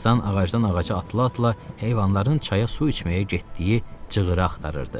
Tarzan ağacdan ağaca atıla-atıla heyvanların çaya su içməyə getdiyi cığıra axtarırdı.